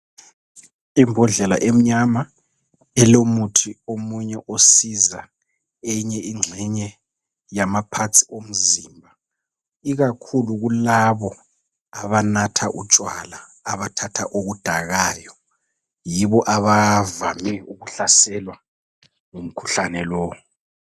Imbodlela emnyama elomuthi omunye osiza eyinye ingxenye yamaparts omzimba ikakhulu kulabo abanatha utshwala abathatha okudakayo yibo abavame ukuhlaselwa ngukhuhlane lowo.